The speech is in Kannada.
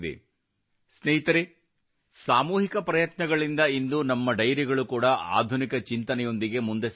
ಸ್ನೇಹಿತರೇ ಸಾಮೂಹಿಕ ಪ್ರಯತ್ನಗಳಿಂದ ಇಂದು ನಮ್ಮ ಡೈರಿಗಳು ಕೂಡಾ ಆಧುನಿಕ ಚಿಂತನೆಯೊಂದಿಗೆ ಮುಂದೆ ಸಾಗುತ್ತಿವೆ